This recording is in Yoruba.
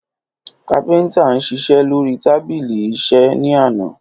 Kápintá n sísé lori tabílí ìsé ní àná